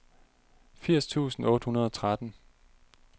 firs tusind otte hundrede og tretten